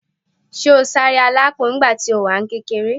Ṣé o sáré alápò nígbà tí o wà ní kékeré?